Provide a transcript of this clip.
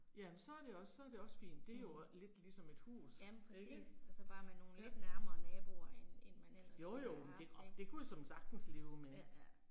Jamen så er det også så er det også fint. Det er det jo lidt ligesom et hus ikke. Ja. Jo jo men det åh, det kunne jeg såmænd sagtens leve med